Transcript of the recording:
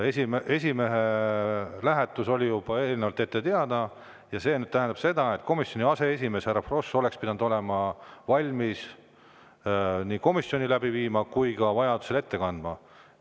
Esimehe lähetus oli juba eelnevalt ette teada ja see tähendab seda, et komisjoni aseesimees härra Frosch oleks pidanud olema valmis nii komisjoni läbi viima kui vajadusel ka.